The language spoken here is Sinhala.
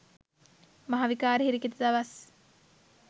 මහ විකාර හිරිකිත දවස්.